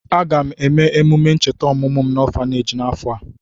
Aga m eme emume ncheta ọmụmụ m n'ọfaneeji n'afọ a.